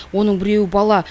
оның біреуі бала